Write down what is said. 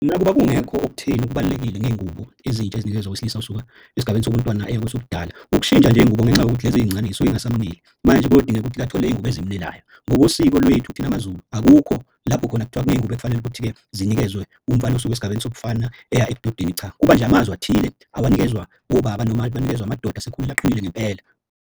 Nakuba kungekho okutheni okubalulekile ngey'ngubo ezintsha ezinikezwa owesilisa osuka esigabeni sobuntwana eya kwesobudala. Ukushintsha nje iy'ngubo ngenxa yokuthi lezi ey'ncane zisuke yingasamuneli. Manje kuyodingeka ukuthi athole iy'ngubo ezimunelayo. Ngokosiko lwethu thina maZulu akukho lapho khona kuthiwa kuney'ngubo ekufanele ukuthi-ke zinikezwe umfana osuke esigabeni sobufana eya ebudodeni. Cha, kuba nje amazwi athile awanikezwa obaba noma banikezwa amadoda asekhulile aqinile ngempela.